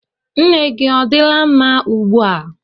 Nne gị odila mma ugbu a?